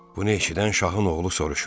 Bunu eşidən Şahın oğlu soruşur: